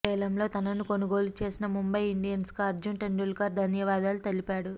వేలంలో తనను కొనుగోలు చేసిన ముంబై ఇండియన్స్కు అర్జున్ టెండూల్కర్ ధన్యవాదాలు తెలిపాడు